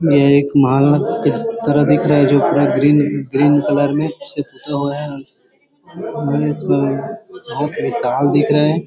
यह एक महल के तरह दिख रहा है जो पूरा ग्रीन है ग्रीन कलर से पुता हुआ है आखरी साल दिख रहे है।